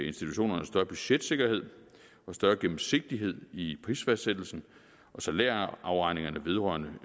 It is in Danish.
institutionerne større budgetsikkerhed og større gennemsigtighed i prisfastsættelsen og salærafregningerne vedrørende